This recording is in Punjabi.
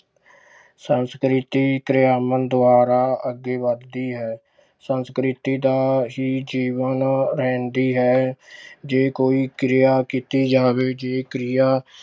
ਸੰਸਕ੍ਰਿਤੀ ਦੁਆਰਾ ਅੱਗੇ ਵੱਧਦੀ ਹੈ ਸੰਸਕ੍ਰਿਤੀ ਦਾ ਹੀ ਜੀਵਨ ਰਹਿੰਦੀ ਹੈ ਜੇ ਕੋਈ ਕਿਰਿਆ ਕੀਤੀ ਜਾਵੇ ਜੇ ਕਿਰਿਆ